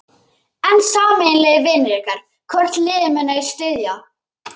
En sameiginlegir vinir ykkar, hvort liðið munu þeir styðja?